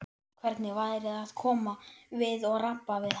Hvernig væri að koma við og rabba við hana?